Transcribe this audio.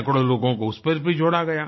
सैकड़ों लोगों को उस पर भी जोड़ा गया